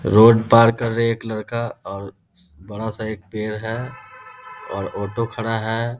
Road पार कर रहे हैं एक लड़का और बड़ा-सा एक पेड़ है और ऑटो खड़ा है।